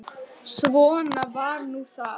Svona var nú það.